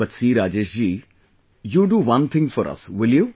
But see Rajesh ji, you do one thing for us, will you